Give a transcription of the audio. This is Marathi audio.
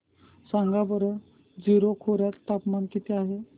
सांगा बरं जीरो खोर्यात तापमान किती आहे